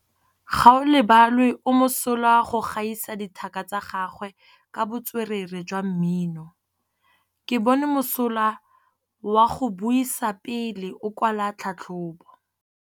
Gaolebalwe o mosola go gaisa dithaka tsa gagwe ka botswerere jwa mmino. Ke bone mosola wa go buisa pele o kwala tlhatlhobô.